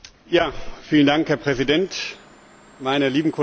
Herr Präsident, meine lieben Kolleginnen und Kollegen!